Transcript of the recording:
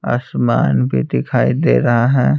आसमान भी दिखाई दे रहा है।